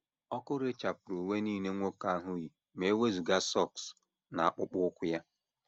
Ọkụ rechapụrụ uwe nile nwoke ahụ yi ma e wezụga sọks na akpụkpọ ụkwụ ya.